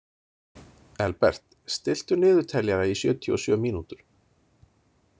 Elbert, stilltu niðurteljara í sjötíu og sjö mínútur.